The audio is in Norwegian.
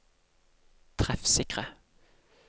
treffsikre